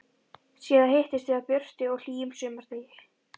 Síðast hittumst við á björtum og hlýjum sumardegi.